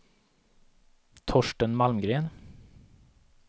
Torsten Malmgren